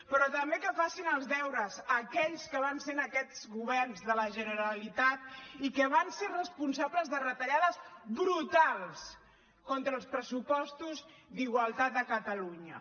però també que facin els deures aquells que van ser en aquests governs de la generalitat i que van ser responsables de retallades brutals contra els pressupostos d’igualtat a catalunya